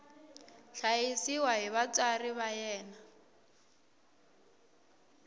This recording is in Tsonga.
hlayisiwa hi vatswari va yena